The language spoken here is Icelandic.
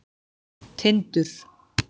Tindur